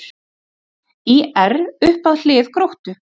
ÍR upp að hlið Gróttu